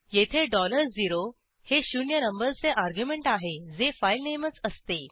येथे 0 dollar zero हे शून्य नंबरचे अर्ग्युमेंट आहे जे फाईलनेमच असते